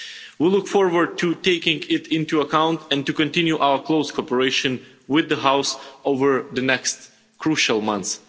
We look forward to taking it into account and to continue our close cooperation with this House over the next crucial months.